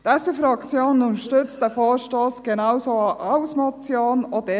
Die SP-Fraktion unterstützt diesen Vorstoss genauso auch als Motion.